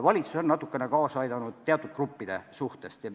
Valitsus on natukene kaasa aidanud teatud gruppide puhul.